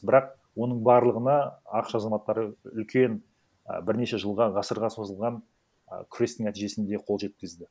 бірақ оның барлығына ақш азаматтары үлкен ы бірнеше жылға ғасырға созылған ы күрестің нәтижесінде қол жеткізді